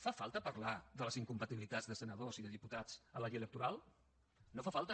fa falta parlar de les incompatibilitats de senadors i de diputats a la llei electoral no fa falta